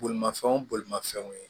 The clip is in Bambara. Bolimafɛnw bolimafɛnw ye